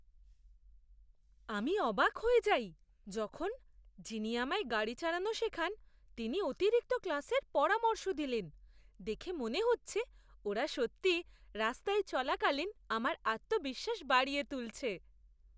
আমি অবাক হয়ে যাই যখন, যিনি আমায় গাড়ি চালানো শেখান তিনি অতিরিক্ত ক্লাসের পরামর্শ দিলেন। দেখে মনে হচ্ছে ওরা সত্যিই রাস্তায় চলাকালীন আমার আত্মবিশ্বাস বাড়িয়ে তুলছে!